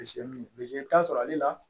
i bɛ taa sɔrɔ ale la